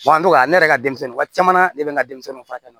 an tora ne yɛrɛ ka denmisɛnnin waati caman na ne bɛ n ka denmisɛnninw furakɛ